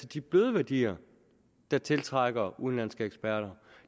de bløde værdier der tiltrækker udenlandske eksperter